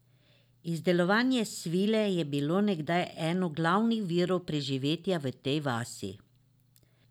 Izdelovanje svile je bilo nekdaj eno glavnih virov preživetja v tej vasi.